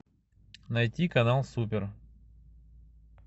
найти канал супер